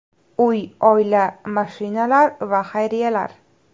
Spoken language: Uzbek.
Uy, oila, mashinalar va xayriyalar.